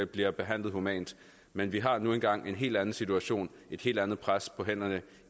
bliver behandlet humant men vi har nu engang en helt anden situation et helt andet pres på hænderne